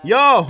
Yahu!